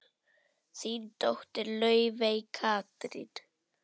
Þín dóttir, Laufey Katrín.